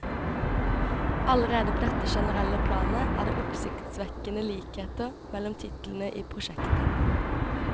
Allerede på dette generelle planet er det oppsiktsvekkende likheter mellom titlene i prosjektet.